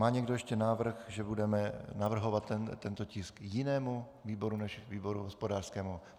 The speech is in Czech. Má někdo ještě návrh, že budeme navrhovat tento tisk jinému výboru než výboru hospodářskému?